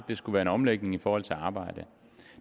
det skulle være en omlægning i forhold til det at arbejde